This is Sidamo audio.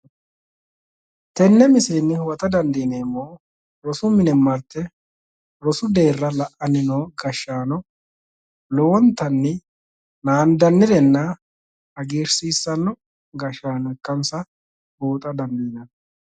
Tenne misilenni huwata dandiineemmohu rosu mine martte rosu deerra la'anni noo gashshaano lowontanni naandannirena hagiirsiissannore ikkansa buuxa dandiinanni.